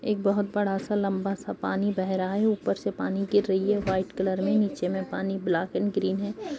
एक बोहत बड़ा सा लम्बा सा पानी बह रहा है। ऊपर से पानी गिर रही है व्हाइट कलर में। नीचे में पानी ब्लैक एन्ड ग्रीन है।